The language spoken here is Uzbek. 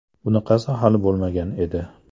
Bunaqasi hali bo‘lmagan edi!